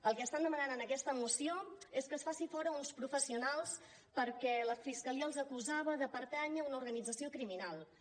el que estan demanant en aquesta moció és que es faci fora uns professionals perquè la fiscalia els acusava de pertànyer a una organització criminals